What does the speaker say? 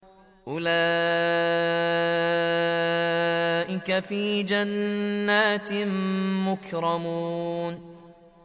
أُولَٰئِكَ فِي جَنَّاتٍ مُّكْرَمُونَ